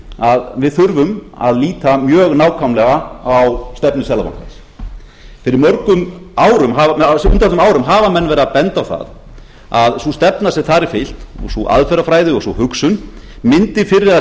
að við þurfum að líta mjög nákvæmlega á stefnu seðlabankans á undanförnum árum hafa menn verið að benda á það að sú stefna sem þar er fylgt sú aðferðafræði og sú hugsun mundi fyrr eða